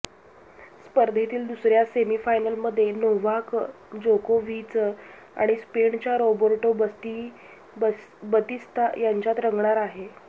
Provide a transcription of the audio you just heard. स्पर्धेतील दुसऱ्या सेमीफायनलमध्ये नोव्हाक जोकोव्हिच आणि स्पेनच्या रॉबर्टो बतिस्ता यांच्यात रंगणार आहे